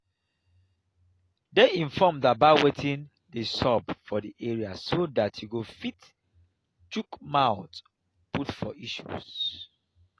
dey informed about wetin dey sup for di area so dat you go fit chook mouth put for issues